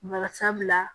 Bari sabula